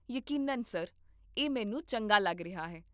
ਯਕੀਨਨ, ਸਰ, ਇਹ ਮੈਨੂੰ ਚੰਗਾ ਲੱਗ ਰਿਹਾ ਹੈ